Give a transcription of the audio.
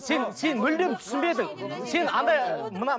сен сен мүлдем түсінбедің сен андай мына